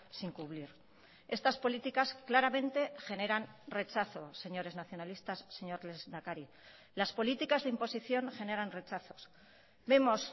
sin cubrir estas políticas claramente generan rechazo señores nacionalistas señor lehendakari las políticas de imposición generan rechazos vemos